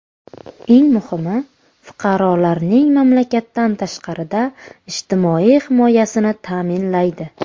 Eng muhimi, fuqarolarning mamlakatdan tashqarida ijtimoiy himoyasini ta’minlaydi.